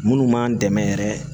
Minnu b'an dɛmɛ yɛrɛ